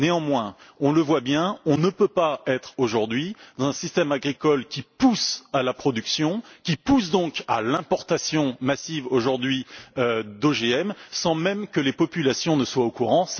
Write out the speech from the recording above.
Néanmoins, on le voit bien, on ne peut pas être aujourd'hui dans un système agricole qui pousse à la production, et donc à l'importation massive d'OGM, sans même que les populations ne soient au courant.